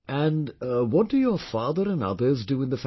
And what do your father and othersdo in the family